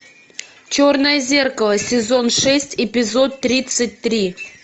черное зеркало сезон шесть эпизод тридцать три